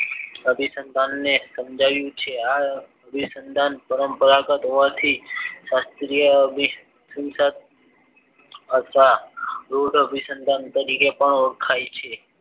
અભિસંદન ને સમજાવ્યું છે આ અભિસંદન પરંપરાગત હોવાથી શાસ્ત્રીય અભી સન્દન અથવા રુડ અભી સન્દન તરીકે પણ ઓળખાય છે